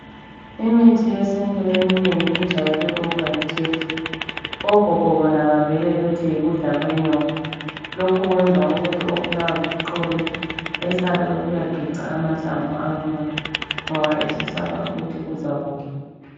Imithi yesintu eminengi ijayele ukuba yitshefu. Ogogo bona bavele bathi yikudla kwenyoka. Lokhu kwenza ukuthi obulawa liqolo esabe ukuyageca amahlamvu akhona ngoba esesaba ukuthi uzakufa.